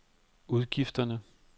udgifterne